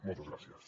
moltes gràcies